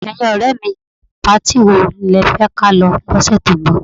Ẹ̀yin ọ̀rẹ́ mi, patí wo lẹ fẹ́ ka lọ lọ́sẹ̀ tó ń bọ̀?